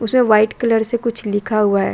उसमें white colour से कुछ लिखा हुआ हैं ।